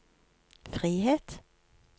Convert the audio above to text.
frihet